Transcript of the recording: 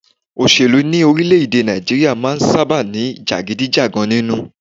Òṣèlú ní orílẹ̀-èdè Nàìjíríà máà ń sábáà ní jàgídíjàgan nínú.